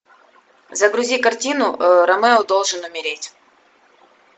загрузи картину ромео должен умереть